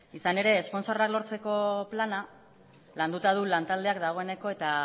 izan ere esponsorrak lortzeko plana landuta du lantaldeak dagoeneko eta